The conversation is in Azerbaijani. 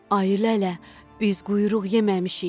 Ayı lələ, biz quyruq yeməmişik.